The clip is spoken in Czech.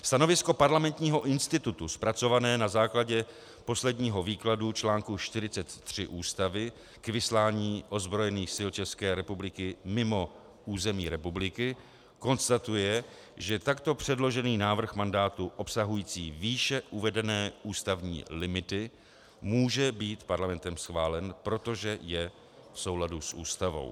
Stanovisko Parlamentního institutu zpracované na základě posledního výkladu článku 43 Ústavy k vyslání ozbrojených sil České republiky mimo území republiky konstatuje, že takto předložený návrh mandátu obsahující výše uvedené ústavní limity může být Parlamentem schválen, protože je v souladu s Ústavou.